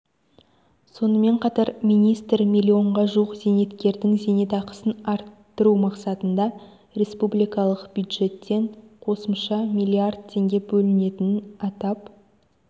сонымен қатар министр миллионға жуық зейнеткердің зейнетақысын арттыру мақсатында республикалық бюджеттен қосымша млрд теңге бөлінетінін атап